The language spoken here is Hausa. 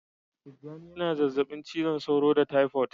Tijjani yana jinyar zazzabin cizon sauro da taifot